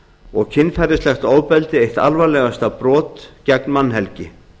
og kynferðislegt ofbeldi eitt alvarlegasta brot gegn mannhelgi